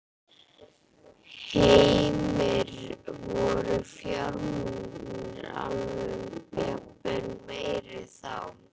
Heimir: Voru fjármunirnir jafnvel meiri þá?